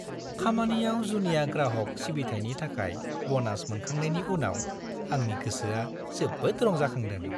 खामानियाव जुनिया ग्राहक सिबिथायनि थाखाय बनास मोनखांनायनि उनाव आंनि गोसोआ जोबोद रंजाखांदों!